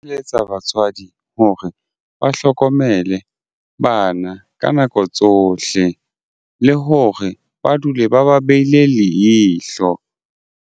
Eletsa batswadi hore ba hlokomele bana ka nako tsohle le hore ba dule ba ba behile leihlo.